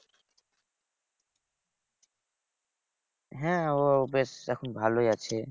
হ্যাঁ ও বেশ এখন ভালোই আছে।